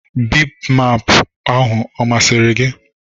Bimbimbap ahụ ọ masịrị gị?